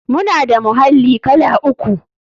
Muna da muhalli kala uku.